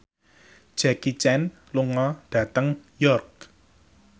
Jackie Chan lunga dhateng York